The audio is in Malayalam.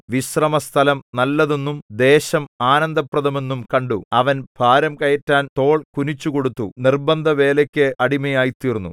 വിശ്രമസ്ഥലം നല്ലതെന്നും ദേശം ആനന്ദപ്രദമെന്നും കണ്ടു അവൻ ഭാരം കയറ്റാൻ തോൾ കുനിച്ചുകൊടുത്തു നിർബന്ധവേലയ്ക്ക് അടിമയായിത്തീർന്നു